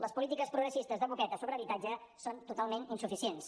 les polítiques progressistes de boqueta sobre habitatge són totalment insuficients